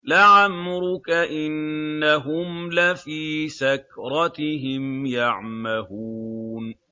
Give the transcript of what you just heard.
لَعَمْرُكَ إِنَّهُمْ لَفِي سَكْرَتِهِمْ يَعْمَهُونَ